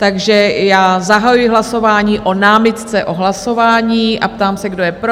Takže já zahajuji hlasování o námitce o hlasování a ptám se, kdo je pro?